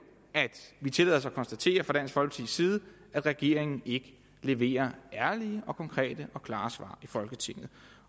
at vi tillader os at konstatere fra dansk folkepartis side at regeringen ikke leverer ærlige og konkrete og klare svar i folketinget